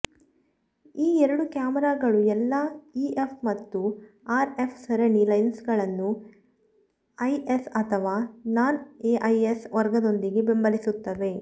ಈ ಎರಡು ಕ್ಯಾಮೆರಾಗಳು ಎಲ್ಲಾ ಇಎಫ್ ಮತ್ತು ಆರ್ಎಫ್ ಸರಣಿ ಲೆನ್ಸ್ಗಳನ್ನು ಐಎಸ್ ಅಥವಾ ನಾನ್ ಐಎಸ್ ವರ್ಗದೊಂದಿಗೆ ಬೆಂಬಲಿಸುತ್ತವೆ